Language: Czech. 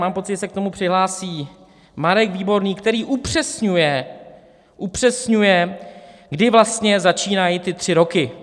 Mám pocit, že se k tomu přihlásí Marek Výborný, který upřesňuje, kdy vlastně začínají ty tři roky.